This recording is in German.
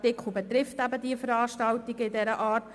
Der Artikel betrifft aber Veranstaltungen dieser Art.